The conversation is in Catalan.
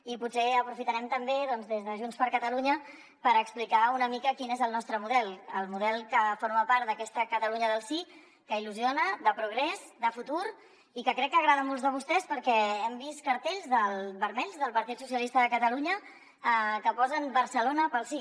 i potser aprofitarem també doncs des de junts per catalunya per explicar una mica quin és el nostre model el model que forma part d’aquesta catalunya del sí que il·lusiona de progrés de futur i que crec que agrada a molts de vostès perquè hem vist cartells vermells del partit socialista de catalunya que posen barcelona pel sí